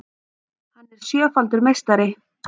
Hann er sjöfaldur meistari